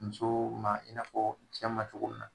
Musoo ma i n'a fɔ cɛ ma cogo min na.